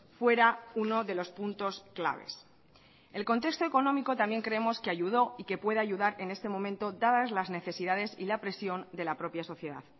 fuera uno de los puntos claves el contexto económico también creemos que ayudó y que puede ayudar en este momento dadas las necesidades y la presión de la propia sociedad